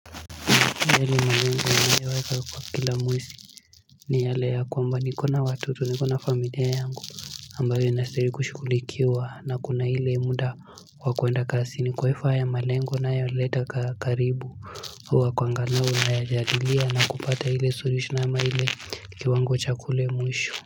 Yale malengo ninayo weka kwa kila mwezi ni yale ya kwamba nikona watoto nikona familia yangu. Ambayo inastahili kushughulikiwa na kuna ile muda wa kuenda kazini. Kwa hivyo haya malengo ninayo leta karibu huwa kuanganao na ya jadilia na kupata ile suluhisho ama ile kiwango chakule mwisho.